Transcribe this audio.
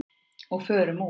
Og förum úr.